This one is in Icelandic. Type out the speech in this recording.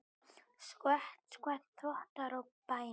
Skvett, skvett, þvottar og bænir.